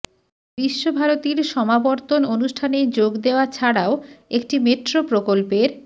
বিশ্বভারতীর সমাবর্তন অনুষ্ঠানে যোগ দেওয়া ছাড়াও একটি মেট্রো প্রকল্পের